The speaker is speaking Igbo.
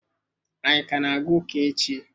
Anyi ka na-aga ụka echi?